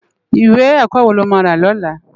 Iwé èkò wó ló má rá lòlá?